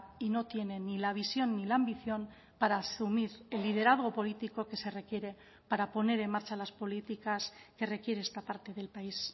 y no tiene ni la visión ni la ambición para asumir el liderazgo político que se requiere para poner en marcha las políticas que requiere esta parte del país